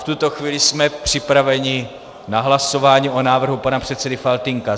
V tuto chvíli jsme připraveni na hlasování o návrhu pana předsedy Faltýnka.